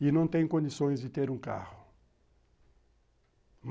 e não tem condições de ter um carro.